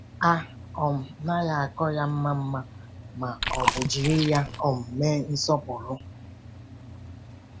A um naghị akpọ ya mma mma ma ọ bụ jiri ya um mee nsọpụrụ.